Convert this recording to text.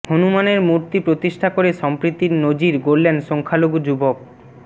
হনুমানের মূর্তি প্রতিষ্ঠা করে সম্প্রীতির নজির গড়লেন সংখ্যালঘু যুবক